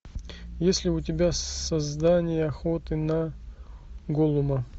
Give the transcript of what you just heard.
есть ли у тебя создание охоты на голлума